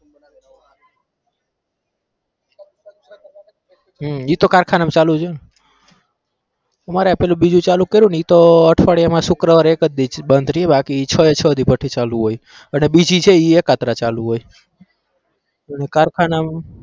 હમ એતો કારખાનામાં ચાલુ જ હોય અમારે પેલું બીજું ચાલુ કર્યુંને ઈ તો અઠવાડિયામાં શુક્રવારે એક જ દિવસ બંધ રહ્યું બાકી છ એ છ દિવસ ભઠી ચાલુ હોય, અને બીજી છે એકત્ર ચાલુ હોય કારખાનામાં